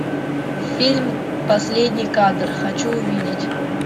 фильм последний кадр хочу увидеть